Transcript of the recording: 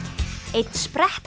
einn